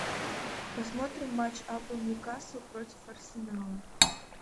посмотрим матч апл ньюкасл против арсенала